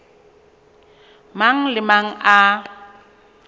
mang le a mang a